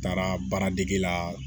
N taara baara dege la